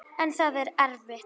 En það er erfitt.